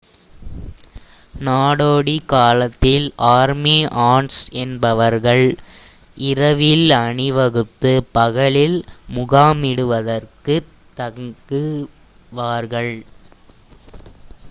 நாடோடி காலத்தில் army ants என்பவர்கள் இரவில் அணிவகுத்து பகலில் முகாமிடுவதற்காகத் தங்குவார்கள்